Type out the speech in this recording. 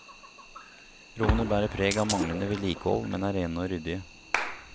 Rommene bærer preg av manglende vedlikehold, men er rene og ryddige.